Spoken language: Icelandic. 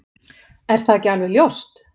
Er það ekki alveg ljóst?